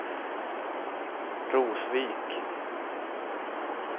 Rosvik